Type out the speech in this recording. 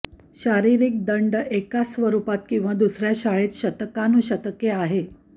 शारिरीक दंड एकाच स्वरूपात किंवा दुसर्या शाळेत शतकानुशतके आहे